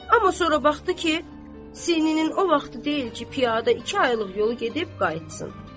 Amma sonra baxdı ki, sinnin o vaxtı deyil ki, piyada iki aylıq yolu gedib qayıtsın.